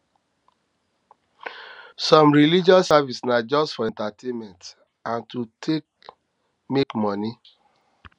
some religious services na just for entertainment and to take make moni